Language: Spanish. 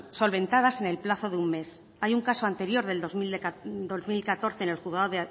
solventadas en el plazo de un mes hay un caso anterior del dos mil catorce en el juzgado